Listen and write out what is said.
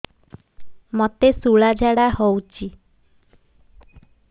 ମୋତେ ଶୂଳା ଝାଡ଼ା ହଉଚି